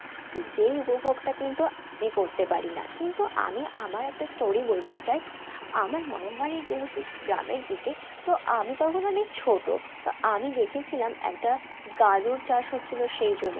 তো যেই উপভোগটা কিন্তু আমি করতে পারি না কিন্তু আমি আমার একটা story বলতে চাই আমার মামা বাড়ি যেহেতু গ্রামের দিকে তো আমি তখন অনেক ছোট তো আমি দেখেছিলাম একটা গাজর চাষ হচ্ছিল সেই জমি